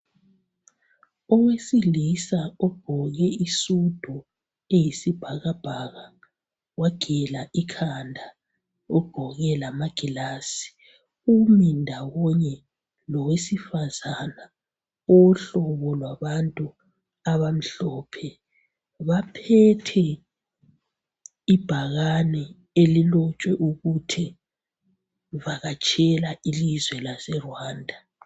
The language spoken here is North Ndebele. Owesilisa ogqoke isudu elombala oyisibhakabhaka umile lowesifazana ogqoke isudu laye olombala wabantu abamhlophe, bathwele ibhakane elibonisa ukuba bavakatshele eRwanda.